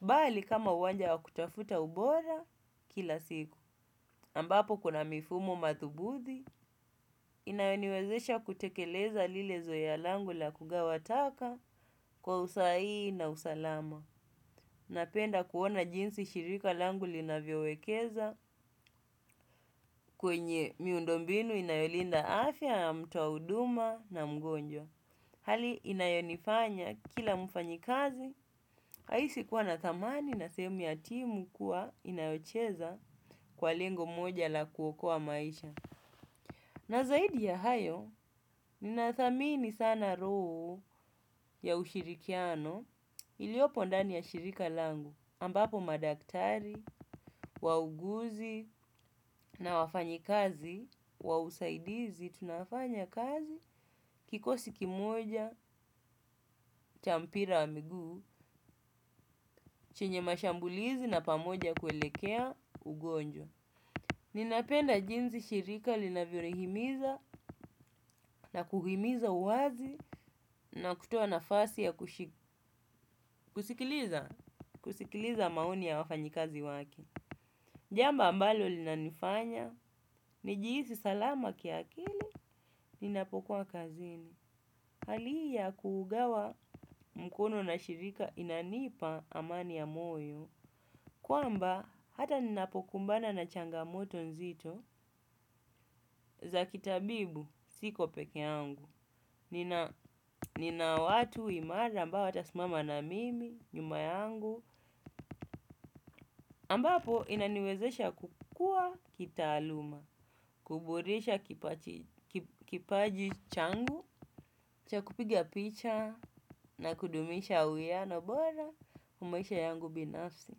bali kama uwanja wa kutafuta ubora kila siku. Ambapo kuna mifumo madhubuti, inayoniwezesha kutekeleza lile zoea langu la kugawa taka kwa usahihi na usalama. Napenda kuona jinsi shirika langu linavyowekeza kwenye miundo mbinu inayolinda afya ya mtu wa huduma na mgonjwa. Hali inayonifanya kila mfanyikazi, haisi kuwa na thamani na sehemu ya timu kuwa inayocheza kwa lengo moja la kuokoa maisha. Na zaidi ya hayo, ninathamini sana roho ya ushirikiano iliopo ndani ya shirika langu, ambapo madaktari, wauguzi na wafanyikazi, wa usaidizi, tunafanya kazi, kikosi kimoja, cha mpira wa miguu, chenye mashambulizi na pamoja kuelekea ugonjwa. Ninapenda jinsi shirika linavyonihimiza na kuhimiza uwazi na kutoa nafasi ya kusikiliza maoni ya wafanyikazi wake. Jambo ambalo linanifanya, nijihisi salama kiakili. Ninapokuwa kazini. Hali hii ya kuugawa mkono na shirika inanipa amani ya moyo. Kwamba hata ninapokumbana na changamoto nzito za kitabibu siko pekee yangu. Nina watu imara ambao watasimama na mimi, nyuma yangu ambapo inaniwezesha kukuwa kitaaluma kuboresha kipaji changu cha kupiga picha na kudumisha uhiano bora kwa maisha yangu binafsi.